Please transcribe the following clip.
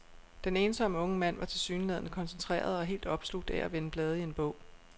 Den ensomme unge mand var tilsyneladende koncentreret og helt opslugt af at vende blade i en bog.